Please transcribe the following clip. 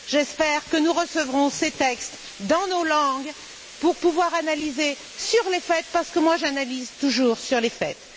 J'espère que nous recevrons ces textes dans nos langues pour pouvoir analyser sur les faits, parce que j'analyse toujours sur les faits!